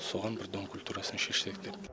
соған бір дом культурасын шешсек деп